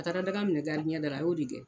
A taara daga minɛ da la a y'o de gɛn.